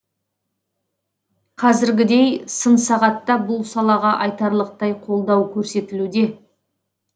қазіргідей сын сағатта бұл салаға айтарлықтай қолдау көрсетілуде